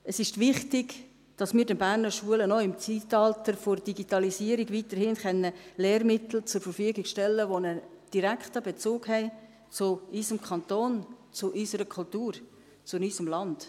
Es ist wichtig, dass wir den Berner Schulen auch im Zeitalter der Digitalisierung weiterhin Lehrmittel zur Verfügung stellen können, die einen direkten Bezug zu unserem Kanton haben, zu unserer Kultur, zu unserem Land.